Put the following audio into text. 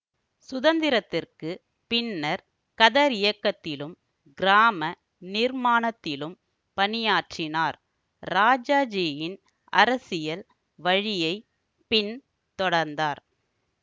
சுதந்திரத்திற்கு பின்னர் கதரியக்கத்திலும் கிராம நிர்மாணத்திலும் பணியாற்றினார் ராஜாஜியின் அரசியல் வழியை பின் தொடர்ந்தார்